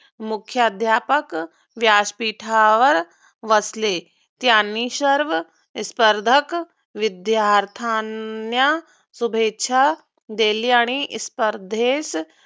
मुख्याध्यापक व्यासपीठावर बसले. त्यांनी सर्व स्पर्धक विद्यार्थ्यांना शुभेच्छा दिली आणि स्पर्धेस